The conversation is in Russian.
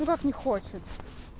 ну как не хочет